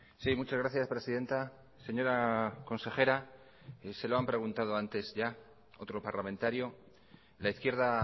sí muchas gracias presidenta señora consejera se lo han preguntado antes ya otro parlamentario la izquierda